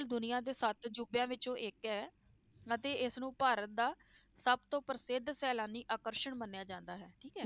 ਦੁਨੀਆਂ ਦੇ ਸੱਤ ਅਜ਼ੂਬਿਆਂ ਵਿੱਚੋਂ ਇੱਕ ਹੈ ਅਤੇ ਇਸਨੂੰ ਭਾਰਤ ਦਾ ਸਭ ਤੋਂ ਪ੍ਰਸਿੱਧ ਸੈਲਾਨੀ ਆਕਰਸ਼ਣ ਮੰਨਿਆ ਜਾਂਦਾ ਹੈ, ਠੀਕ ਹੈ।